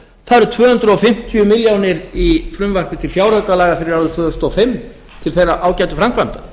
það eru tvö hundruð fimmtíu milljónir í frumvarpi til fjáraukalaga fyrir árið tvö þúsund og fimm í þá ágætu framkvæmd